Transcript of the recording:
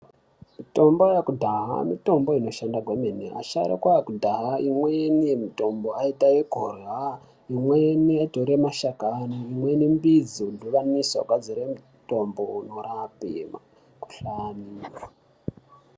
Mitombo yakudhaya mitombo inoshanda kwemene asharukwa akadhaya imweni yemitombo aita yekurya. Imweni aitore mashakani imweni mbidzi indovaniswa kugadzire mutombo inorape mikuhlani.